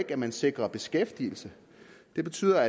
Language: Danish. at man sikrer beskæftigelse så betyder